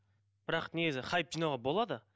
бірақ негізі хайп жинауға болады